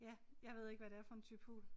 Ja jeg ved ikke hvad det er for en type fugl